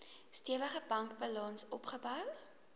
stewige bankbalans opgebou